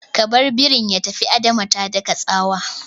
Ka bar ɓeran ya tafi! Adama ta daka tsawa